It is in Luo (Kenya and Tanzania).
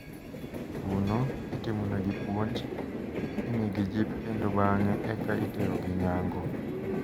Kuno, itimonegi puonj, imigi jip kendo bang`e eka iterogi nyango.